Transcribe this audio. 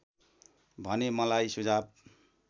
भने मलाई सुझाव